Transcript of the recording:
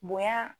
Bonya